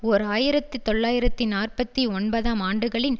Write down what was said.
ஓர் ஆயிரத்து தொள்ளாயிரத்தி நாற்பத்தி ஒன்பதாம் ஆண்டுகளின்